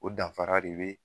O danfara de be